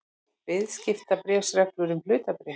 Viðskiptabréfsreglur um hlutabréf.